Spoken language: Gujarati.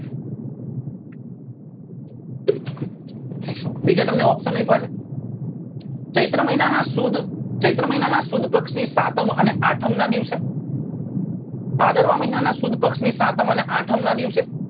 નીચે તમને option આપ્યા છે ચૈત્ર મહિના ના સુદ ચૈત્ર મહિના ના સુદ પક્ષ ની સાતમ અને આથમ નાં દિવસે ભાદરવા મહિના ના સુદ પક્ષ ની સાતમ અને આઠમ નાં દિવસે